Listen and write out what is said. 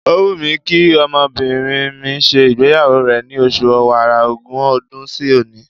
Ó wù mí kí ọmọbìnrin mi ṣe ìgbéyàwó rẹ̀ ni oṣù Ọ̀wàrà, ogún ọdún sí òní.